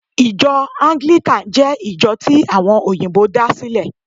Ijo Anglican jé ìjo tí àwon òyìbó da sílè